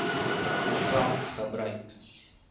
program gebruik